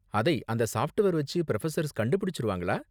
அதை அந்த சாஃப்ட்வேர் வெச்சு புரொஃபசர்ஸ் கண்டு பிடிச்சிருவாங்களா?